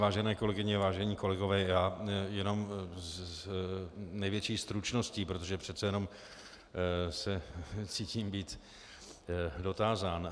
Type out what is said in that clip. Vážené kolegyně, vážení kolegové, já jenom s největší stručností, protože přece jenom se cítím být dotázán.